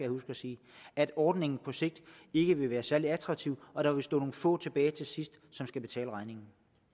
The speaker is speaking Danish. huske at sige at ordningen på sigt ikke vil være særlig attraktiv og der vil stå nogle få tilbage til sidst som skal betale regningen